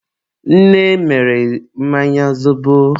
nne mere mmanya zobo.